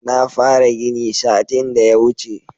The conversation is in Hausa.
Na fara gini satin da ya wuce